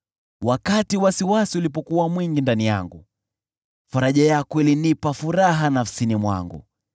Wakati wasiwasi ulipokuwa mwingi ndani yangu, faraja yako ilinipa furaha nafsini mwangu.